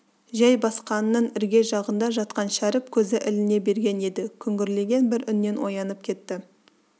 жайбасқанның ірге жағында жатқан шәріп көзі іліне берген еді күңгірлеген бір үннен оянып кетті